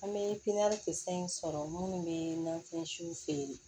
An bɛ pipiniyɛri kisɛ in sɔrɔ minnu bɛ na fɛnsiw feere